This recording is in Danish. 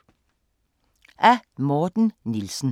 Af Morten Nielsen